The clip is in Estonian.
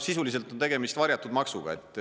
Sisuliselt on tegemist varjatud maksuga.